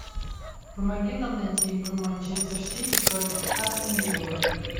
помоги нам найти игру манчестер сити против астон виллы